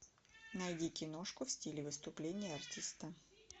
найди киношку в стиле выступление артиста